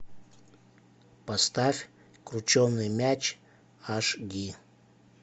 поставь крученый мяч аш ди